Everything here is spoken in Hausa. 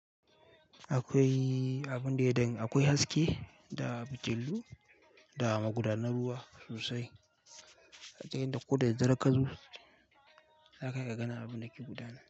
Akwai abin da ya dan akwai haske da bijilu da magudanar ruwa sosai. Ta yanda ko da dare ka zo, za kaga ganin abun da ke gudana.